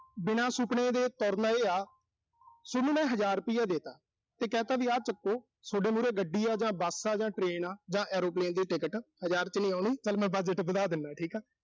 ਬਿਨਾਂ ਸੁਪਨੇ ਦੇ ਤੁਰਨਾ ਇਹ ਆ। ਸੋਨੂੰ ਮੈਂ ਹਜ਼ਰ ਰੁਪਈਆ ਦੇਤਾ। ਤੇ ਕਹਿਤਾ ਵੀ ਆਹ ਚੱਕੋ। ਸੋਡੇ ਮੂਹਰੇ bus ਆ ਜਾਂ ਗੱਡੀ ਆ ਜਾਂ train ਆ ਜਾਂ airplane ਦੀ ticket ਹਜ਼ਾਰ ਚ ਨੀਂ ਆਉਣੀ, ਚਲ ਮੈਂ budget ਵਧਾ ਦਿਨਾ ਠੀਕ ਆ।